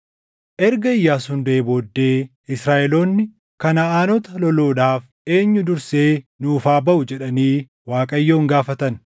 Erga Iyyaasuun duʼee booddee Israaʼeloonni, “Kanaʼaanota loluudhaaf eenyu dursee nuuf haa baʼu?” jedhanii Waaqayyoon gaafatan.